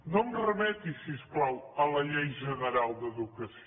no em remeti si us plau a la llei general d’educació